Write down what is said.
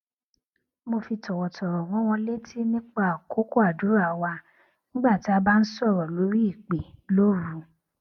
mo fi tòwòtòwò rán wọn létí nipa àkókò àdúrà wa nígbà tí a bá ń sòrò lórí ìpè lóru